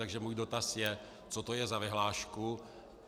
Takže můj dotaz je: Co to je za vyhlášku?